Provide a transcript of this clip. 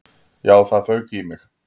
Já, það fauk í mig.